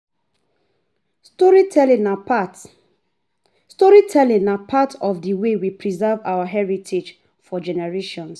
Storytelling na part Storytelling na part of the way we preserve our heritage for generations.